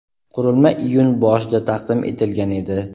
Qurilma iyun boshida taqdim etilgan edi.